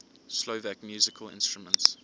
slovak musical instruments